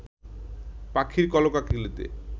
পাখির কলকাকলিতে